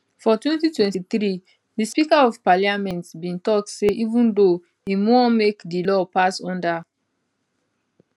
for 2023 di speaker of parliament bin tok say even though im wan make di law pass under